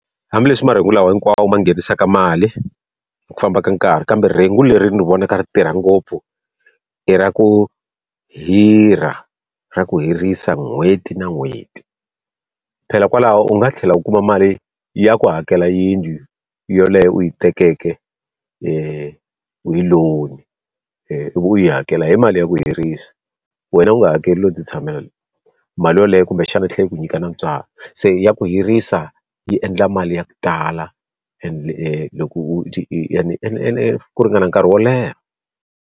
Hambileswi marhengu lawa hinkwawo ma nghenisaka mali hi ku famba ka nkarhi kambe rhengu leri ni vonaka ra tirha ngopfu, i ra ku hirha ra ku hirhisa n'hweti na n'hweti. Phela kwalaho u nga tlhela u kuma mali ya ku hakela yindlu yeleyo u yi tekeke hi loan-i ivi u yi hakela hi mali ya ku hirhisa, wena u nga hakeli u lo ti tshamela. Mali yoleyo kumbexana tlhela yi ku nyika na ntswalo, se ya ku hirhisa yi endla mali ya ku tala loko ku ringana nkarhi wo leha.